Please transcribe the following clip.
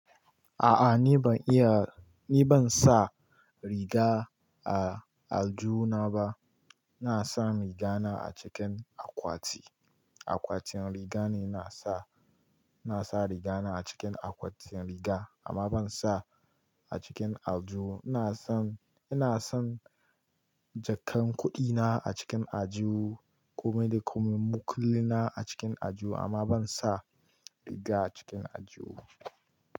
A'a ni ban iya, ni ban sa riga a aljihuna ba. Ina sa rigana a cikin akwati, akwatin riga ne ina sa. Ina sa rigana a cikin akwatin riga amma ban sa a cikin aljihu Ina son, ina son jakan kuɗina a cikin aljihu, komai da komai, makullina a cikin aljihu amma ban sa riga a cikin aljihu ba.